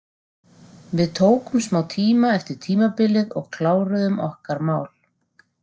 Við tókum smá tíma eftir tímabilið og kláruðum okkar mál.